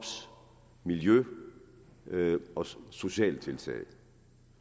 miljø og sociale tiltag